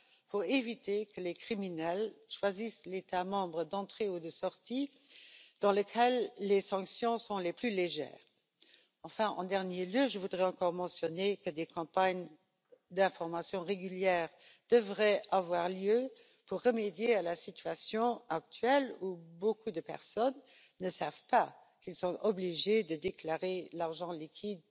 pour éviter que les criminels choisissent l'État membre d'entrée ou de sortie dans lequel les sanctions sont les plus légères. Enfin, en dernier lieu, je voudrais encore mentionner que des campagnes d'information régulières devraient avoir lieu pour remédier à la situation actuelle, où beaucoup de personnes ne savent pas qu'elles sont obligées de déclarer leur argent liquide